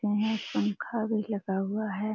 ये एक पंखा भी लगा हुआ है।